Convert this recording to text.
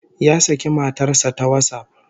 Ya saki matar sa ta WhatsApp